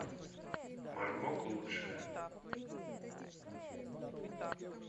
мармок лучшее